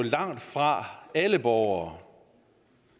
langtfra er alle borgere